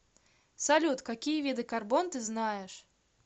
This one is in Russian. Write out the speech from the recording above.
салют какие виды карбон ты знаешь